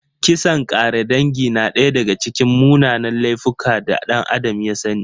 Kisan ƙare dangi na daya daga cikin munanan laifuka da ɗan Adam ya sani.